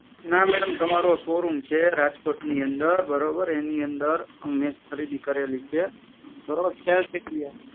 ના મેડમ તમારો શોરૂમ છે રાજકોટની અંદર બરોબર એની અંદર મે ખરીદી કરેલી છે